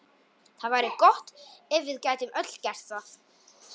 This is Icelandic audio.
Það væri gott ef við gætum öll gert það.